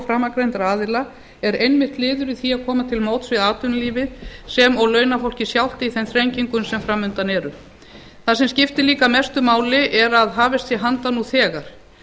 framangreindra aðila er einmitt liður í því að koma til móts við atvinnulífið sem og launafólkið sjálft í þeim þrengingum sem framundan eru það sem skiptir líka mestu máli er að hafist sé handa nú þegar